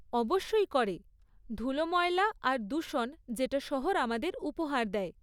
অবশ্যই করে, ধুলোময়লা আর দূষণ যেটা শহর আমাদের উপহার দেয়।